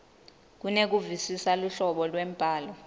kunekuvisisa luhlobo lwembhalo